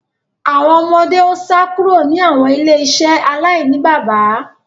Awọn ọmọde o sá kúrò ni awọn ile-iṣẹ alainibaba